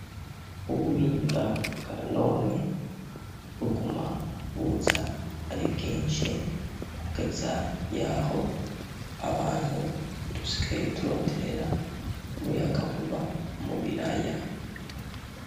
Ubuhinga bwa none bugumabuza ari bwinshi kugeza yaho abantu dushikaye turonderera umuyaga nkuba umubiraya.